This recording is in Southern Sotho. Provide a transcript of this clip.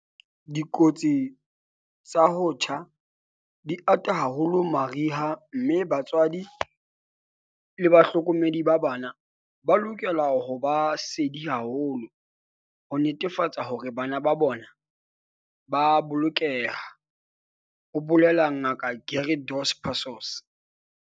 "Dikotsi tsa ho tjha di ata haholo mariha mme batswadi le bahlokomedi ba bana ba lokela ho ba sedi haholo ho netefatsa hore bona le bana ba a bolokeha," ho bolela Ngaka Gary Dos Passos.